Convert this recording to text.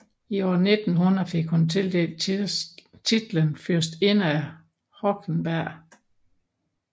I år 1900 fik hun tildelt titlen fyrstinde af Hohenberg